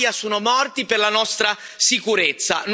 Migliaia sono morti per la nostra sicurezza.